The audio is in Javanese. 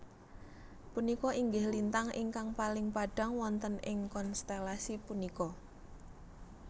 Punika inggih lintang ingkang paling padhang wonten ing konstelasi punika